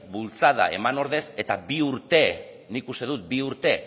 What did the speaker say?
bultzada eman ordez eta bi urte nik uste dut bi urte